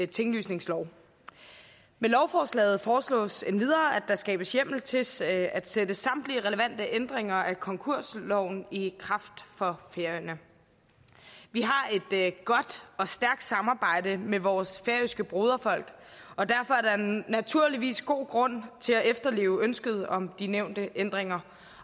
tinglysningslov med lovforslaget foreslås endvidere at der skabes hjemmel til at sætte at sætte samtlige relevante ændringer af konkursloven i kraft for færøerne vi har et godt og stærkt samarbejde med vores færøske broderfolk og derfor er der naturligvis god grund til at efterleve ønsket om de nævnte ændringer